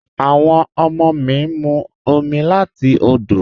Awọn ọmọ mi ń mú omi láti òdò